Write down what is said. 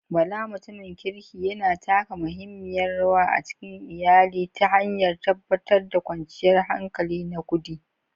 Bala, mutumin kirki, yana taka muhimmiyar rawa a cikin iyali ta hanyar tabbatar da kwanciyar hankali na kudi.